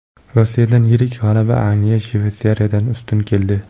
Rossiyadan yirik g‘alaba, Angliya Shveysariyadan ustun keldi.